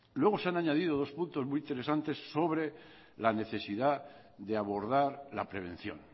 luego se han añadido dos puntos muy interesantes sobre la necesidad de abordar la prevención